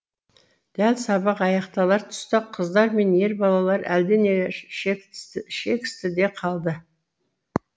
дәл сабақ аяқталар тұста қыздар мен ер балалар әлденеге шекісті де қалды